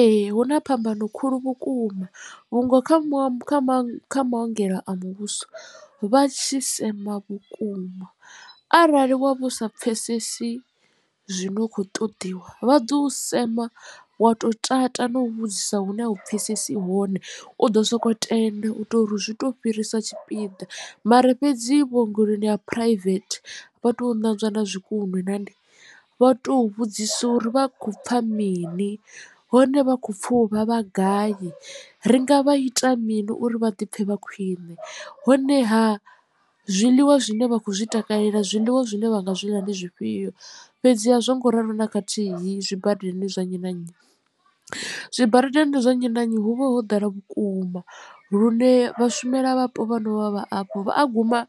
Ee hu na phambano khulu vhukuma vhungo kha maongelo a muvhuso vha tshi sema vhukuma arali wa vha usa pfhesesi zwino khou ṱoḓiwa vha ḓo u sema wa to tata na u vhudzisa hune a u pfhesesi hone u ḓo soko tenda u ita uri zwi to fhirisa tshipiḓa. Mara fhedzi vhuongeloni ha private vha to ṋanzwa na zwikunwe nandi vha to vhudzisa uri vha khou pfha mini hone vha khou pfha u vhavha gai ri nga vha ita mini uri vha ḓi pfhe vha khwine honeha zwiḽiwa zwine vha khou zwi takalela zwiḽiwa zwine vha nga zwi ḽa ndi zwifhio fhedzi a zwo ngo ralo na khathihi zwibadela zwa nnyi na nnyi. Zwibadela zwa nnyi na nnyi hu vha ho ḓala vhukuma lune vhashumelavhapo vhono vha vha afho vha a guma